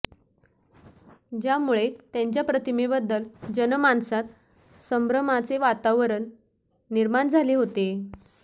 ज्यामुळे त्यांच्या प्रतिमेबद्दल जनमानसात संभ्रमाचे वातावरण निर्माण झाले होते